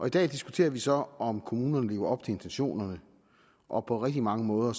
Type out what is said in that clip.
i dag diskuterer vi så om kommunerne lever op til intentionerne og på rigtig mange måder